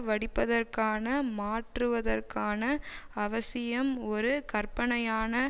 வடிப்பதற்கான மாற்றுவதற்கான அவசியம் ஒரு கற்பனையான